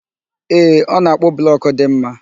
Ee, ọ na-akpụ blọkụ dị mma